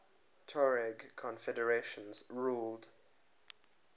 tuareg confederations ruled